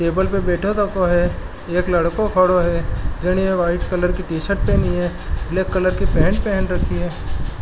टेबल पे बैठ थको है एक लड़को खड़ो है जीने व्हाइट कलर की टीशर्ट पहनी है ब्लैक कलर की पैंट पेहन रखी है।